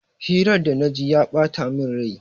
Hirar da na ji ya bata min rai.